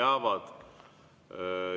Jah, peavad.